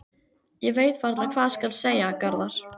Ég veit varla hvað skal segja, Garðar.